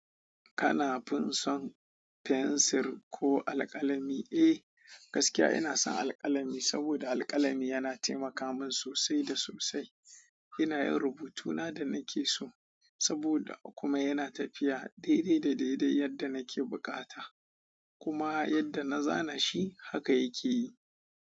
Kana fin son fensir ko alkalami. Eh, gaskiya ina son alƙalami saboda alƙalami yana taimaka min sosai da sosai ina yin rubutuna da nake so saboda kuma yana tafiya daidai da daidai yadda nake buƙata kuma yadda na zana shi haka yake yi.